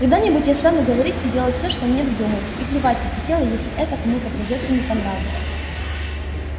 когда-нибудь я стану говорить и делать всё что мне вздумается и плевать я хотела если это кому-то придётся не по нраву